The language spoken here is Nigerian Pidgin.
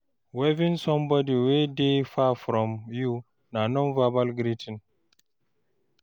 Waving somebody wey dey far from you na non-verbal greeting